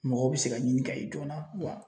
Mɔgɔw bɛ se ka ɲini ka ye joona wa